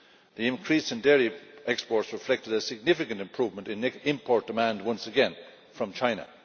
The increase in dairy exports reflected a significant improvement in import demand, once again, from China.